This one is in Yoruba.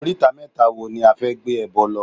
Oríta mẹ́ta wo ni a fẹ́ gbé ẹbọ lọ?